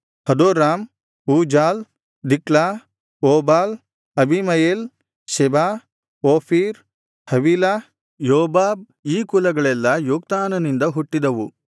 ಹದೋರಾಮ್ Uzal Diklah Obal Abimael Sheba Ophir Havilah Jobab ಈ ಕುಲಗಳೆಲ್ಲಾ ಯೊಕ್ತಾನನಿಂದ ಹುಟ್ಟಿದವು